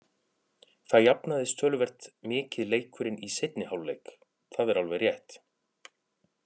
Það jafnaðist töluvert mikið leikurinn í seinni hálfleik, það er alveg rétt.